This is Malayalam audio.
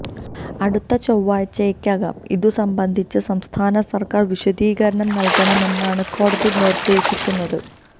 അടുത്ത ചൊവ്വാഴ്ചയ്ക്കകം ഇതുസംബന്ധിച്ച് സംസ്ഥാന സർക്കാർ വിശദീകരണം നൽകണം എന്നാണ് കോടതി നിർദേശിച്ചിരിക്കുന്നത്